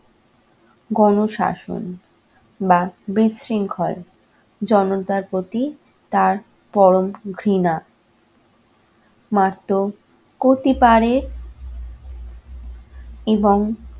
গণ শাসন বা বিশৃংখল জনতার প্রতি তার পরম ঘৃণা মাত্র করতে পারে এবং